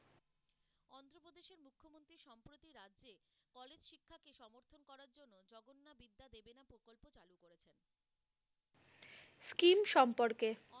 Scheme সম্পর্কে।